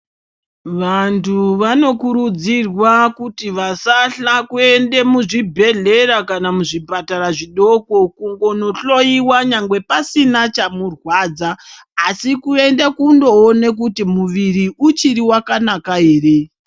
Vantu vanokurudzirwa kuti vasahla kuende muzvibhedhlera, kana muzvipatara zvidoko kungonohloyiwa nyangwe pasina chamurwadza asi kuende kunoona kuti muviri uchiriwakanaka ere.